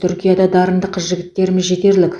түркияда дарынды қыз жігіттеріміз жетерлік